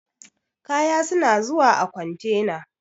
Kaya suna zuwa a kontena.